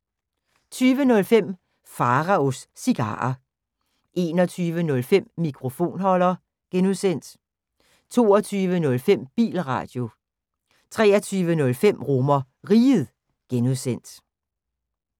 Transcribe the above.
20:05: Pharaos Cigarer 21:05: Mikrofonholder (G) 22:05: Bilradio 23:05: RomerRiget (G)